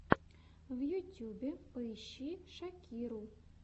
в ютюбе поищи шакиру